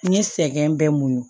N ye sɛgɛn bɛɛ muɲu